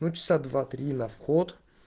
ну часа два три на вход